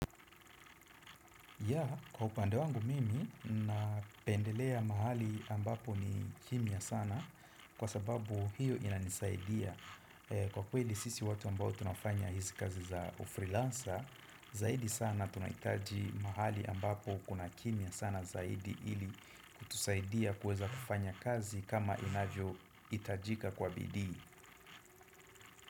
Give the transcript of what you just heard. Ya, kwa upande wangu mimi, ninapendelea mahali ambapo ni kimya sana kwa sababu hiyo inanisaidia. Kwa kweli sisi watu ambao tunafanya hizi kazi za ufreelancer, zaidi sana tunahitaji mahali ambapo kuna kimya sana zaidi ili kutusaidia kuweza kufanya kazi kama inavyohitajika kwa bidii.